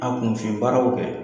A kunfin baaraw kɛ.